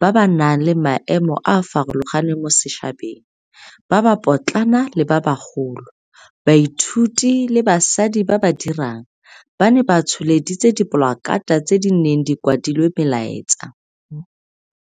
ba ba nang le maemo a a farologaneng mo setšhabeng, ba ba potlana le ba bagolo, baithuti le basadi ba ba dirang, ba ne ba tsholeditse dipolakata tse di neng di kwadilwe melaetsa.